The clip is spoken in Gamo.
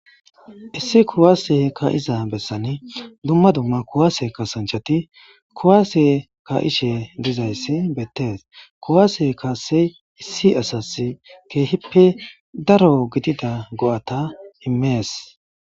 Issi kuwase kaa'iza besani duma duma kuwase kaasanchati kuwase kaa'ishe dizaysi beetes kuwase kaase issi asasi keehipe daro gidida go'ata imes.